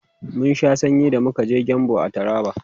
mun Sha sanyi da muka je gembu a taraba